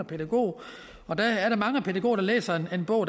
pædagog og der er mange pædagoger der læser den bog